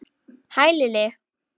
Hæ, Lilli!